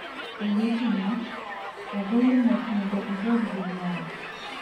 Owetena, agoyo mos mondo ubed gi NYALO!